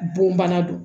Bon bana don